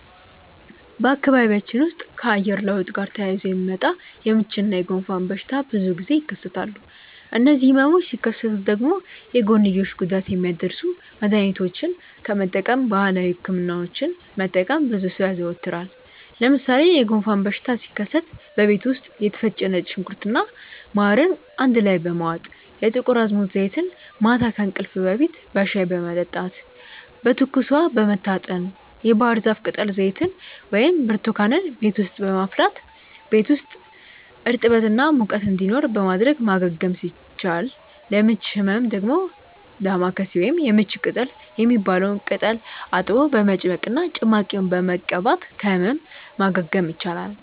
በአካባቢያችን ውስጥ ከአየር ለውጥ ጋር ተያይዞ የሚመጣ የምች እና የጉንፋን በሽታ ብዙ ጊዜ ይከሰታሉ። እነዚህ ህመሞች ሲከሰቱ ደግሞ የጎንዮሽ ጉዳት የሚያደርሱ መድሀኒቶችን ከመጠቀም ባህላዊ ህክምናዎችን መጠቀምን ብዙ ሰው ያዘወትራል። ለምሳሌ የጉንፋን በሽታ ሲከሰት በቤት ውስጥ የተፈጨ ነጭ ሽንኩርት እና ማርን አንድ ላይ በመዋጥ፣ የጥቁር አዝሙድ ዘይትን ማታ ከእንቅልፍ በፊት በሻይ በመጠጣት፣ በትኩስ ውሃ በመታጠን፣ የባህርዛፍ ቅጠል ዘይትን ወይም ብርቱካንን ቤት ውስጥ በማፍላት ቤት ውስጥ እርጥበት እና ሙቀት እንዲኖር በማድረግ ማገገም ሲቻል፤ ለምች ህመም ደግሞ ዳማከሴ ወይም የምች ቅጠል የሚባለውን ቅጠል አጥቦ በመጭመቅ እና ጭማቂውን በመቀባት ከህመም ማገገም ይቻላል።